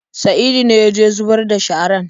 Saidu ne ya je zubar da sharar.